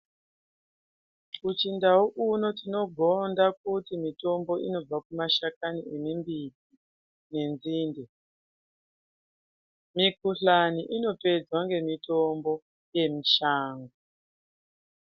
Muchindau kuno tinogonda kuti mutombo unobva kumashakani emimbiti nenzinde. Mikuhlani inopedzwa ngemitombo yemushango.